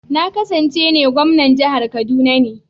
Na ƙasance ne gwamnan jihar kaduna ne.